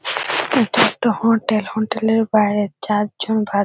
এটা একটা hotel hotel -এর বাইরে চারজন ভাত--